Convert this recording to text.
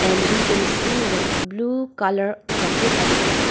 and we can see one blue colour bucket as well.